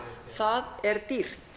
það er dýrt